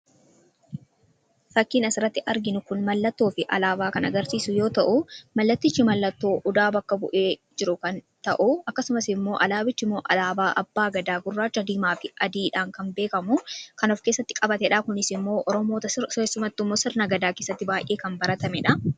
Fakkiin asirratti arginu kun mallattoo fi alaabaa kan agarsiisu yoo ta'u, mallatichi mallattoo odaa bakka bu'ee jiru kan ta'u akkasumas immoo alaabichi alaabaa abbaa gadaa gurraacha, diimaa fi adiidhaan kan beekamu kan of keessatti qabatedha. Kunis immoo oromoota keessatti keessumattuu sirna gadaa keessatti kan baratamedha.